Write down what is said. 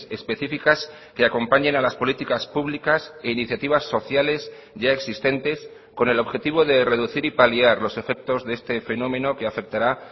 específicas que acompañen a las políticas públicas e iniciativas sociales ya existentes con el objetivo de reducir y paliar los efectos de este fenómeno que afectará